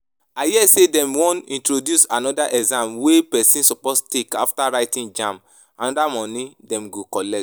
I hear say dem wan introduce another exam wey person suppose take after writing JAMB, another money dem go collect